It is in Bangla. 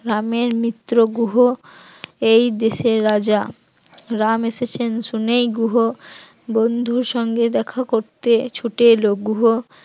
রাম এর মিত্র গুহ এই দেশের রাজা, রাম এসেছেন শুনেই গুহ বন্ধুর সঙ্গে দেখা করতে ছুটে এলো, গুহ